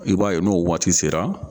I b'a ye n'o waati sera